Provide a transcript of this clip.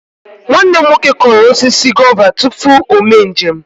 Nwanne m nwoke kụrụ osisi gova tupu o mee njem.